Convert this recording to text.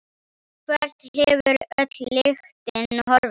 Hvert hefur öll lyktin horfið?